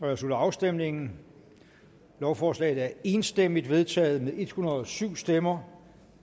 jeg slutter afstemningen lovforslaget er enstemmigt vedtaget med en hundrede og syv stemmer